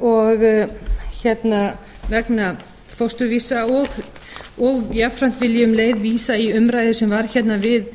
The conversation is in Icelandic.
og vegna fósturvísa og jafnframt vil ég um leið vísa í umræðu sem varð hérna við